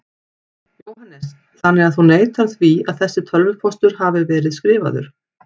Jóhannes: Þannig að þú neitar því að þessi tölvupóstur hafi verið skrifaður?